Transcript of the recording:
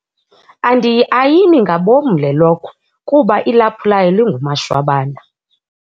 Andiyiayini ngabomi lelokhwe kuba ilaphu layo lingumashwabana.